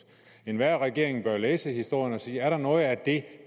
enhver regering bør læse historien og sige er der noget af det